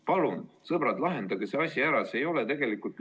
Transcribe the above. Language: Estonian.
Palun, sõbrad, lahendage see asi ära!